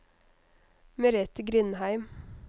Merethe Grindheim